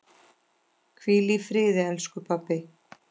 Hvíl í friði, elsku pabbi.